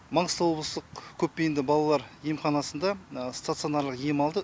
маңғыстау облыстық көпбейінді балалар емханасында стационарлық ем алды